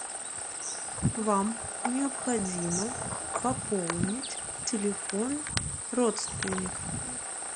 вам необходимо пополнить телефон родственника